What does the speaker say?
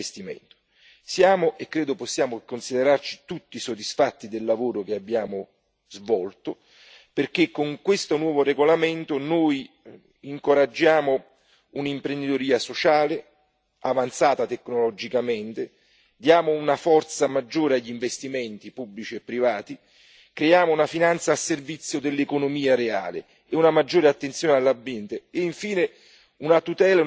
Credo possiamo considerarci tutti, e lo siamo, soddisfatti del lavoro che abbiamo svolto, perché con questo nuovo regolamento noi incoraggiamo un'imprenditoria sociale tecnologicamente avanzata, diamo una forza maggiore agli investimenti, pubblici e privati, creiamo una finanza al servizio dell'economia reale, prestiamo maggiore attenzione all'ambiente e, infine, offriamo una tutela e una salvaguardia del lavoro.